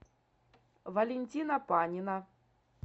валентина панина